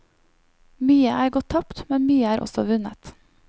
Mye er gått tapt, men mye er også vunnet.